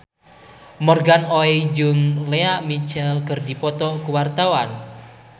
Morgan Oey jeung Lea Michele keur dipoto ku wartawan